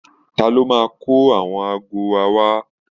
Ta ló máa kó àwọn aago wa wá